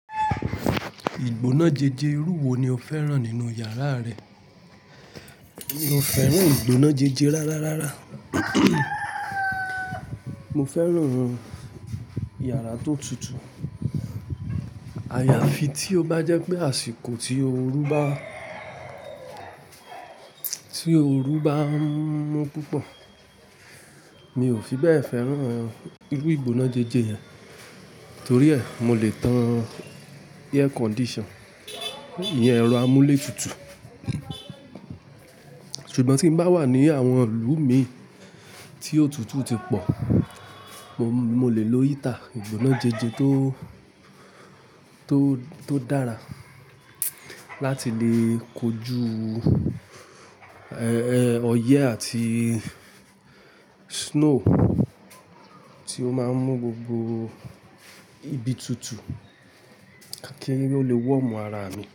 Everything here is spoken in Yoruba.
Ìgbóná jẹjẹ irú wo ni o fẹ́ràn nínú yàrá rẹ? Mi ò fẹ́ràn ìgbóná jẹjẹ rárá rara. Mo fẹ́ràn yàrá tó tutù. Àyàfi tí ó bá jẹ́ pé àsìkò tí oru bá, tí oru bá mú púpọ̀. Mi ò fi bẹ́ẹ̀ fẹ́ràn irú ìgbóná jẹjẹ yẹn. Torí ẹ, mo lè tan air condition, iyẹn ẹ̀rọ amúlétutù. Ṣùgbọ́n tí n bá wà ní àwọn ìlú mi tí ótutù ti pọ̀, mo lè lo heater, ìgbóná jẹjẹ tó, tó, tó dára láti lè kojú, ẹ́, ẹ́, ọyẹ́ àti snow tí ó máa n mú gbogbo ibi tutù kí n lè wọ̀omù ara mi.